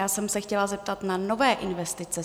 Já jsem se chtěla zeptat na nové investice.